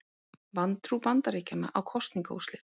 Vantrú Bandaríkjanna á kosningaúrslit